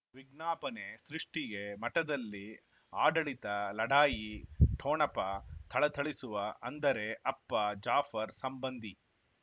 ವಿಜ್ಞಾಪನೆ ಸೃಷ್ಟಿಗೆ ಮಠದಲ್ಲಿ ಆಡಳಿತ ಲಢಾಯಿ ಠೊಣಪ ಥಳಥಳಿಸುವ ಅಂದರೆ ಅಪ್ಪ ಜಾಫರ್ ಸಂಬಂಧಿ